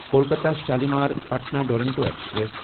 Kolkata Shalimar Patna Duronto express